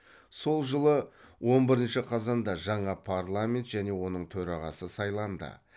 сол жылы он бірінші қазанда жаңа парламент және оның төрағасы сайланды